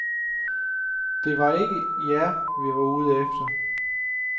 Det var ikke jer, vi var ude efter.